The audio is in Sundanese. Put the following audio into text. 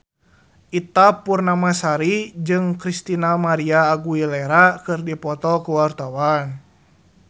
Ita Purnamasari jeung Christina María Aguilera keur dipoto ku wartawan